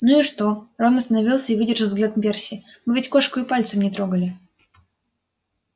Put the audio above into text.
ну и что рон остановился и выдержал взгляд перси мы ведь кошку и пальцем не трогали